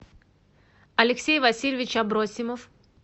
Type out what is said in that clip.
алексей васильевич абросимов